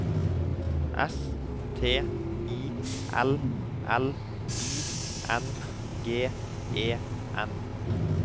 S T I L L I N G E N